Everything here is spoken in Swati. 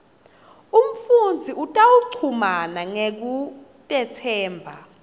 umfundzi utawuchumana ngekutetsemba